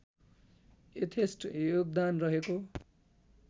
यथेष्ट योगदान रहेको